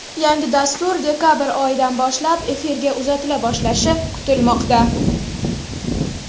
Yangi dastur dekabr oyidan boshlab efirga uzatila boshlashi kutilmoqda.